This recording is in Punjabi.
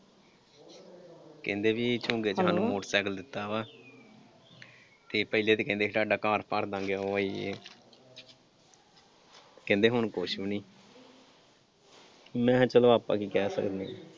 ਕਹਿੰਦੇ ਵੀ ਝੁੰਗੇ ਚ ਸਾਨੂੰ ਮੋਟਰ ਸਾਈਕਲ ਦਿੱਤਾ ਵਾ ਤੇ ਪਹਿਲੇ ਤੇ ਕਹਿੰਦੇ ਸੀ ਤੁਹਾਡਾ ਘਰ ਭਰਦਾਂਗੇ ਉਹ ਆ ਯੇਹ ਵਾ ਕਹਿੰਦੇ ਹੁਣ ਕੁਛ ਵੀ ਨਈਂ ਮੈਂ ਕਿਹਾ ਚਲੋ ਆਪਾਂ ਕੀ ਕਹਿ ਸਕਦੇ ਆਂ।